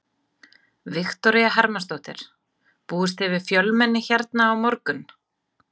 Viktoría Hermannsdóttir: Búist þið við fjölmenni hérna á morgun?